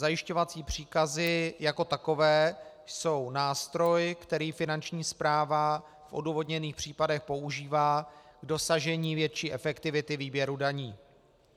Zajišťovací příkazy jako takové jsou nástroj, který Finanční správa v odůvodněných případech používá k dosažení větší efektivity výběru daní.